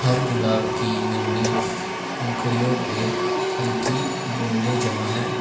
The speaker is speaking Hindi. हर गुलाब की नन्ही पंखुड़ियो पे हल्की बूंदे जमा है।